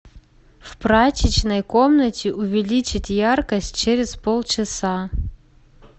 в прачечной комнате увеличить яркость через полчаса